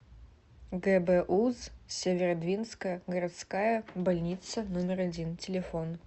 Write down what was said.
гбуз северодвинская городская больница номер один телефон